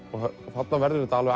þarna verður þetta